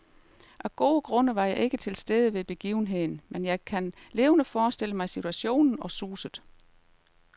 Af gode grunde var jeg ikke til stede ved begivenheden, men jeg kan levende forestille mig situationen og suset.